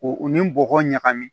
U u ni bɔgɔ ɲagami